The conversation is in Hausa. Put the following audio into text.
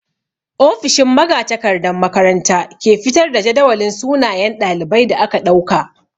Ofishin magatakardan makaranta ke fitar da jadawalin sunayen ɗalibai da aka ɗauka.